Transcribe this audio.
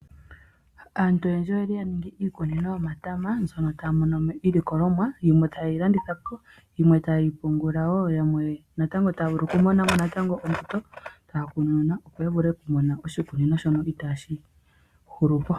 Aantu oyendji oya ninga iikunino yomatama na ohaa mono mo iilikolomwa. Iilikolomwa yimwe oha ye yi landithapo na yimwe oha ye yi pungula ,opo ya monemo ombutu ya kununune natango yo oya kalekepo iikunino yawo.